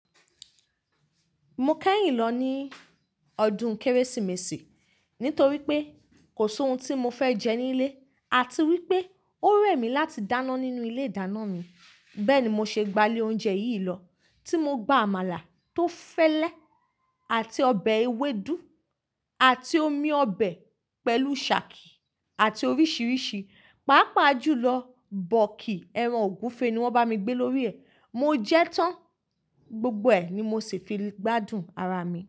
Mo kẹ́yìn lọ ní ọdún Kérésìmesì nítorí pé kò sí ohun tí mo fẹ́ jẹ nílé àti wípé ó rẹ̀ mí láti dáná nínú ilé ìdáná mi. Bẹ́ẹ̀ni mo ṣe gba ilé oúnjẹ yìí lọ tí mo gba àmàlà tó fẹ́lẹ́ àti ọbẹ̀ ewédú àti omi ọbẹ̀ pẹ̀lú sàákí àti oríṣiríṣi. Pápá jùlọ bọ́ọ̀kì ẹran ògúnfe ni wọ́n bá mi gbé lórí ẹ̀. Mo jẹ́ tán, gbogbo ẹ̀ ni mo sì fi gbádùn ara mi.